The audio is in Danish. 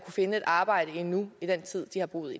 finde et arbejde endnu i den tid de har boet